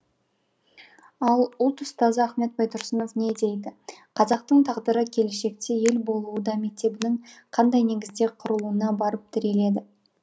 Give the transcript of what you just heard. ал ұлт ұстазы ахмет байтұрсынов не дейді қазақтың тағдыры келешекте ел болуы да мектебінің қандай негізде құрылуына барып тіреледі